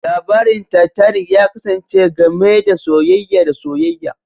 Labarin Titanic ya kasance game da soyayya da soyayya